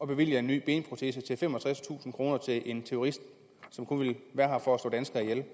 bevilge en ny benprotese til femogtredstusind kroner til en terrorist som kun er her for at slå danskere ihjel